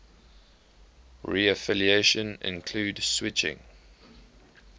reaffiliation include switching